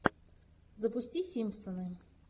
запусти симпсоны